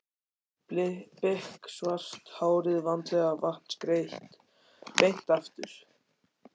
Biksvart hárið vandlega vatnsgreitt beint aftur.